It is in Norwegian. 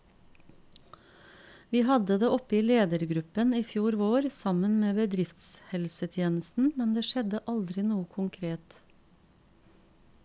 Vi hadde det oppe i ledergruppen i fjor vår, sammen med bedriftshelsetjenesten, men det skjedde aldri noe konkret.